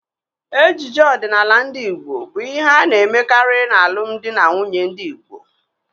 Ejiji ọdịnala ndị Igbo bụ ihe a na-emekarị n'alụm di na nwunye ndị Igbo.